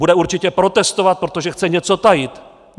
Bude určitě protestovat, protože chce něco tajit.